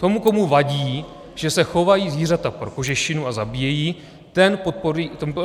Ten, komu vadí, že se chovají zvířata pro kožešinu a zabíjejí, ten